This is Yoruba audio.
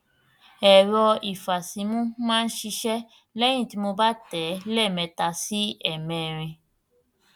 ẹrọ ìfàsímú máa ń ṣiṣẹh lẹyìn tí mo bá tẹ ẹ lẹẹmẹta sí ẹẹmẹrin